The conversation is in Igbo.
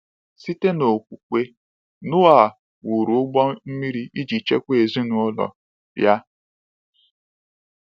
Site n’okwukwe, Noa “wụrụ ụgbọ mmiri iji chekwaa ezinụlọ ya.”